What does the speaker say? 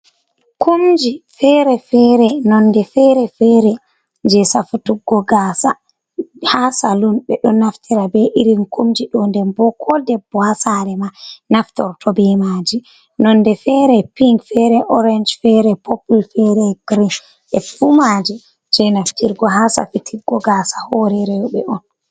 Kumji feere-feere nonde feere-feere je safutuggo gasa haa salun. Ɓe ɗo naftira be irin kumji ɗo denbo ko debbo haa saare ma naftorto bemaji. Nonde fere pink, fere orange, fere popul, fere girin. E fuumaji je naftirgo haa safituggo gasa hore rewɓe on.